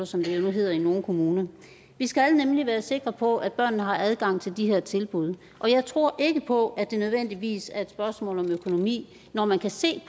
som det jo nu hedder i nogle kommuner vi skal nemlig være sikre på at børnene har adgang til de her tilbud og jeg tror ikke på at det nødvendigvis er et spørgsmål om økonomi når man kan se